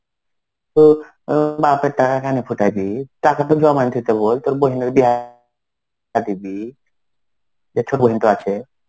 তো বাপের টাকা কেন ফুটাইবি? টাকা তো জমাই থুইতে বল. তোর বোনের বিয়াহ দিবি. জেঠু পর্যন্ত আছে.